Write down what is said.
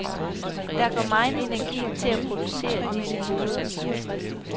Der jo går megen energi til at producere disse goder.